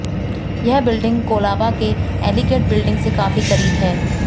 यह बिल्डिंग कोलाबा के elegant building से काफी करीब है